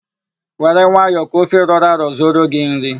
Were nwayọ ka ofe rọrọ arọ zuoro gị nri!